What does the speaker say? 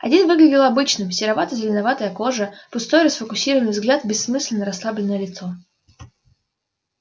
один выглядел обычным серовато-зеленоватая кожа пустой расфокусированный взгляд бессмысленно-расслабленное лицо